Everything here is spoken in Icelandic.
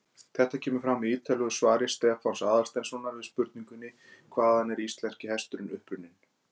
Þetta kemur fram í ýtarlegu svari Stefáns Aðalsteinssonar við spurningunni Hvaðan er íslenski hesturinn upprunninn?